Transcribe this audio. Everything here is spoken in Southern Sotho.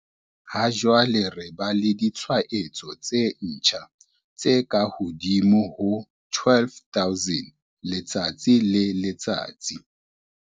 Ha jwale re ba le ditshwaetso tse ntjha tse kahodimo ho 12 000 letsatsi le letsatsi.